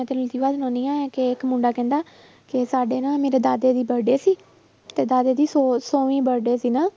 ਕਿ ਇੱਕ ਮੁੰਡਾ ਕਹਿੰਦਾ ਕਿ ਸਾਡੇ ਨਾ ਮੇਰੇ ਦਾਦੇ ਦੀ birthday ਸੀ ਤੇ ਦਾਦੇ ਦੀ ਸੌ ਸੌਵੀਂ birthday ਸੀ ਨਾ